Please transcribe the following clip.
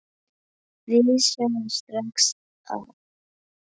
Við sjáum strax að